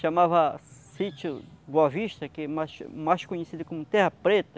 Chamava Sítio Boa Vista, que mais é mais mais conhecido como Terra Preta.